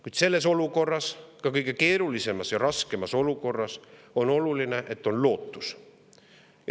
Kuid selles olukorras, ka kõige keerulisemas ja raskemas olukorras, on oluline, et on lootus.